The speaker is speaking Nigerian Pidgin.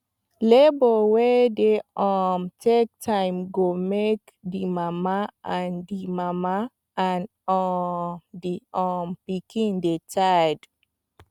labour wey dey um take time go make the mama and the mama and um the um pikin dy tired